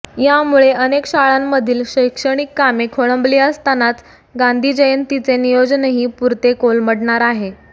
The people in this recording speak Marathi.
यामुळे अनेक शाळांमधील शैक्षणिक कामे खोळंबली असतानाच गांधी जयंतीचे नियोजनही पुरते कोलमडणार आहे